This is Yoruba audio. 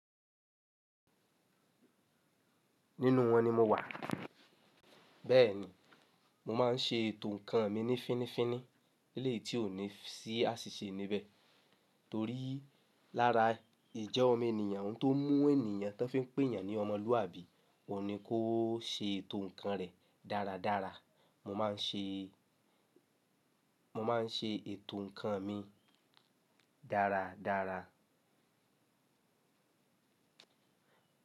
Nínú wọn ni mo wà. Bẹ́ẹ̀ni, mo máà ń ṣe ètò ǹkan mi ní fínnífínní elẹ́yìí tí ò ní sí àṣìṣe níbẹ̀. Torí lára ìjẹ́ ọmọ ènìyàn tó mú ènìyàn tán fi ń pè yàn ní ọmọlúwàbí, ò ní kó ṣe ètò ǹkan rẹ̀ dáradára. Mo máà ń ṣe, mo máà ń ṣe ètò ǹkan mi dáradára.